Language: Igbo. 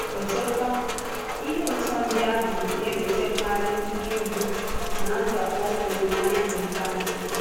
Ọzọkwa, ihe ụ̀tụ̀ ndị ahụ na-ewetakarị ihe mgbu na ndàkpò olileanya n’ókpéazụ.